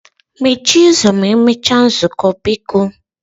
Mechie ụzọ ma emechaa nzukọ biko